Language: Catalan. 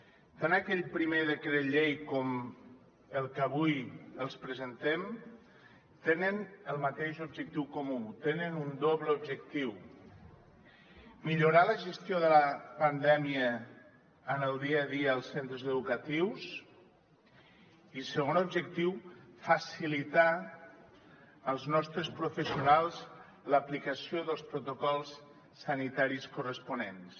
tant aquell primer decret llei com el que avui els presentem tenen el mateix objectiu comú tenen un doble objectiu millorar la gestió de la pandèmia en el dia a dia als centres educatius i segon objectiu facilitar als nostres professionals l’aplicació dels protocols sanitaris corresponents